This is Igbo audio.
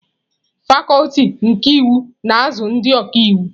Fakuti nke iwu na-azụ ndị ọka iwu.